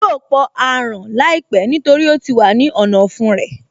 Yóò pọ aràn láìpẹ́ nítorí ó ti wà ní ọ̀nà ọ̀fun rẹ̀